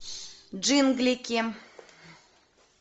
джинглики